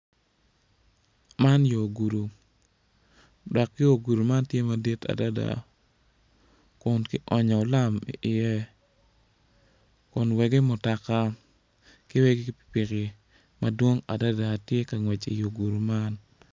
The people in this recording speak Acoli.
Man yo gudu dok yo gudu man tye madit adada kun kionyo lam i ye kun wegi mutoka ki wegi pipiki madwong adada tye ka ngwec iyo gudu man.